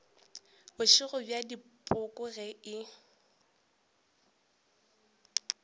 bošego bja dipoko ge e